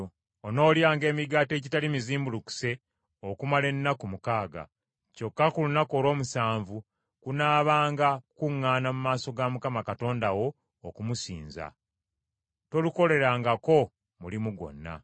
Onoolyanga emigaati egitali mizimbulukuse okumala ennaku mukaaga, kyokka ku lunaku olw’omusanvu kunaabanga kukuŋŋaana mu maaso ga Mukama Katonda wo okumusinza; tolukolerangako mulimu gwonna.